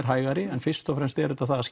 hægari en fyrst og fremst er þetta það að